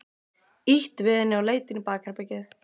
Ýtti við henni og leit inn í bakherbergið.